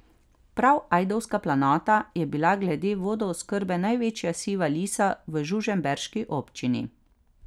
Prav Ajdovska planota je bila glede vodooskrbe največja siva lisa v žužemberški občini.